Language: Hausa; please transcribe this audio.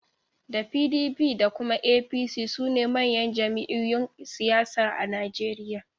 Da PDP da kuma APC sune manyan jam'iyun siyasa a Nijeriya